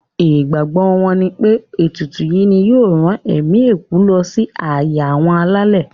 Ìgbàgbọ wọn nipé ètùtù yìí ni yóò rán ẹ̀mí òkú lọ sí ààyè àwọn alálẹ̀.